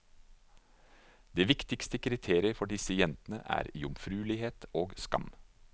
Det viktigste kriteriet for disse jentene er jomfruelighet og skam.